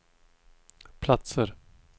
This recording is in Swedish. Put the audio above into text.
platser